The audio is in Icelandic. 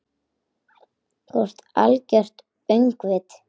Þú ert algert öngvit!